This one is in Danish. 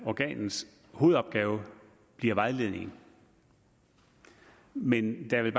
organets hovedopgave bliver vejledning men der vil